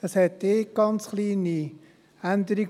Es gibt eine ganz kleine Änderung: